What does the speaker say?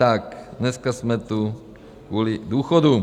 Tak dneska jsme tu kvůli důchodům.